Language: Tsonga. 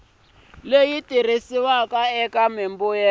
leyi tirhisiwaka eka mimbuyelo ya